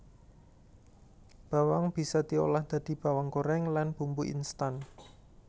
Bawang bisa diolah dadi bawang gorèng lan bumbu instan